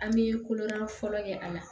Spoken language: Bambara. An bɛ kolonan fɔlɔ kɛ a la